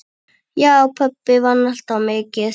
Já, pabbi vann alltaf mikið.